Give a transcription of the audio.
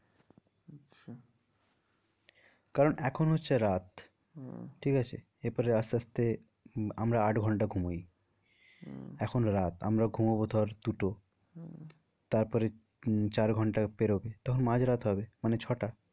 কারণ এখন হচ্ছে রাত হম ঠিক আছে এর পরে আস্তে আস্তে আমরা আট ঘন্টা ঘুমাই এখন রাত আমরা ঘুমাবো ধর দু টো হম তারপরে উম চার ঘন্টা পেরোবে তখন মাঝ রাত হবে মানে ছ টা